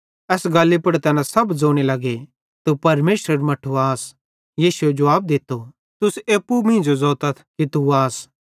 एस गल्ली पुड़ तैना सब ज़ोने लगे तू परमेशरेरू मट्ठू आस यीशुए जुवाब दित्तो तुस एप्पू मींजो ज़ोतथ कि तू आस